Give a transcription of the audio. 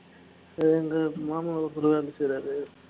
இத எங்களை சும்மா எத்தனைவாட்டி சொல்லறாரு